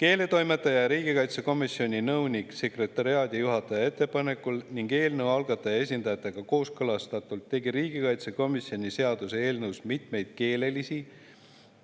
Keeletoimetaja ja riigikaitsekomisjoni nõunik-sekretariaadijuhataja ettepanekul ning eelnõu algataja esindajatega kooskõlastatult tegi riigikaitsekomisjon seaduseelnõus mitmeid keelelisi